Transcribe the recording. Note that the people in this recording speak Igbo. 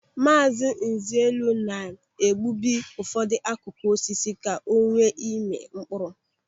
Maazị Nzelu na-egbubi ụfọdụ akụkụ osisi ka o nwee ịmị mkpụrụ.